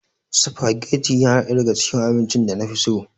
Sufageti yana ɗaya daga cikin abincin da na fi so.